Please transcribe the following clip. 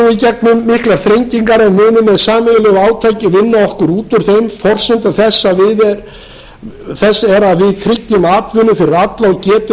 gegnum miklar þrengingar en munum með sameiginlegu átaki vinna okkur út úr þeim forsenda þess er að við tryggjum atvinnu fyrir alla og getum